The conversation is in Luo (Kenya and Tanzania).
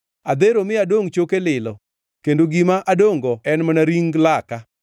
Adhero mi adongʼ choke lilo; kendo gima adongʼ-go en mana ring laka.